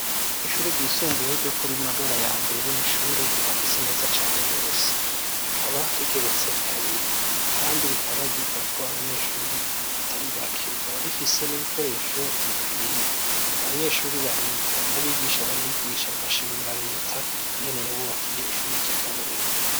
Ishure ryisumbuye ryo kuri magarayambere ni ishure ryubakitse neza cane gose rikaba rigeretse kabiri kandi rikaba ryigako abanyeshuri atari bake rikaba rifise n'ibikoresho bikwiye abanyeshuri bahiga n'abigisha bahigisha bagashimira reta ingene yabubakiye ishuri ry' akarorero.